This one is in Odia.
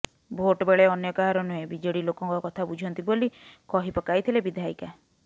ଭୋଟ ବେଳେ ଅନ୍ୟ କାହାର ନୁହେଁ ବିଜେଡି ଲୋକଙ୍କ କଥା ବୁଝନ୍ତି ବୋଲି କହି ପକାଇଥିଲେ ବିଧାୟିକା